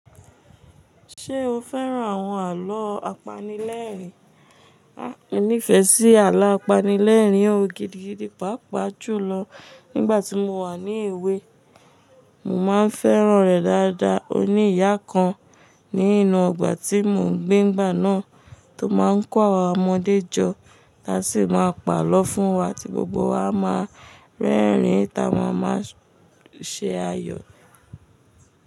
Ṣé o fẹ́ran àwọn àlọ́ apanilẹ́rìn? A inífẹ̀ẹ́ sí àlọ́ apanilẹ́rìn o. Ó gidigidi, pàápàá jùlọ nígbà tí mo wà ní èwe. Mo máa ń fẹ́ran rẹ̀ dáadáa. Oníyà kan ní inú ọgbà tí mò ń gbé nigbà náà tó máa ń kọ àwa ọmọdé jọ, tá sì máa ń pa àlọ́ fún wa tí gbogbo wa máa ń rẹ́rìn ín táa mama ṣe ayọ̀